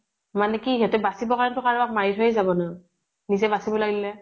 মানে কি সিহঁতে বাচিবৰ কাৰণে টো কাৰোবাক মাৰি থৈ যাব না, নিজে বাচিব লাগিলে।